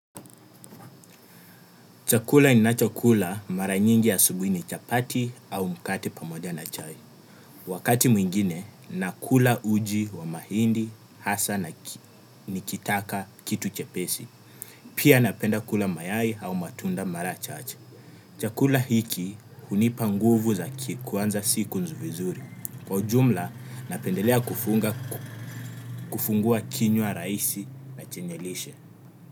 Chakula nina cho kula mara nyingi asubui ni chapati au mkate pamoja na chai. Wakati mwingine na kula uji wa mahindi, hasa na nikitaka kitu chepesi. Pia napenda kula mayai au matunda mara chache. Chakula hiki hunipa nguvu za kikuwanza siku vizuri. Kwa jumla napendelea kufungua kinywa raisi na chenye lishe.